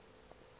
uthe xa axela